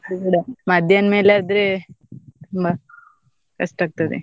ಅದೂ ಕೂಡ ಮಧ್ಯಾಹ್ನ ಮೇಲಾದ್ರೆ ತುಂಬಾ ಕಷ್ಟ ಆಗ್ತದೆ.